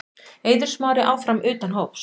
Eiður Smári áfram utan hóps